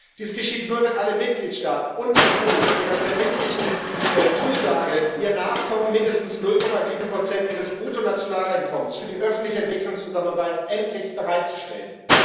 Dies geschieht nur, wenn alle Mitgliedstaaten und die EU endlich ihrer verbindlichen Zusage nachkommen, mindestens 0,7 ihres Bruttonationaleinkommens für die öffentliche Entwicklungszusammenarbeit endlich bereitzustellen.